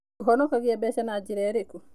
Ũhonokagia mbeca na njĩra ĩrĩkũ?